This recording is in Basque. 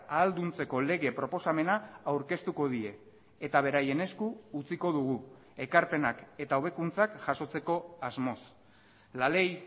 ahalduntzeko lege proposamena aurkeztuko die eta beraien esku utziko dugu ekarpenak eta hobekuntzak jasotzeko asmoz la ley